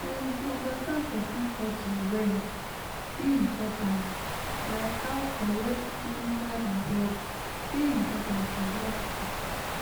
um to understand person culture well dey important like how correct clinical result dey important for healthcare